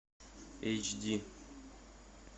эйч ди